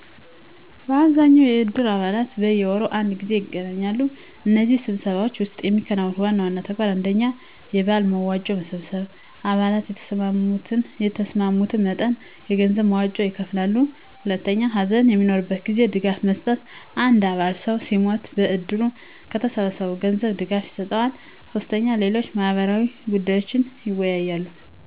በአብዛኛው የእድር አባላት በየወሩ አንድ ጊዜ ይገናኛሉ። በእነዚህ ስብሰባዎች ውስጥ የሚከናወኑ ዋና ተግባራት: 1. የበዓል መዋጮ መሰብሰብ _አባላት የተስማሙትን መጠን የገንዘብ መዋጮ ይከፍላሉ። 2. ሀዘን በሚኖርበት ጊዜ ድጋፍ መስጠት _አንድ አባል ሰው ሲሞትበት ከእድሩ ከተሰበሰበው ገንዘብ ድጋፍ ይሰጠዋል። 3. ሌሎች ማህበራዊ ጉዳዮችንም ይወያያሉ።